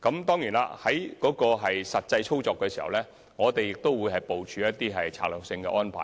當然，實際操作時，我們會部署一些策略性安排。